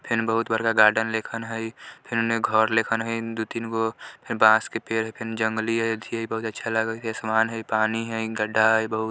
फेन बहुत बड़का गार्डन लेखन हई फेन घर लेखन हई दू-तीन गो फेन बांस के पेड़ फेन जंगली अथी हई बहुत अच्छा लागल हई फेन समान हई पानी हई गड्ढा हई बहुत --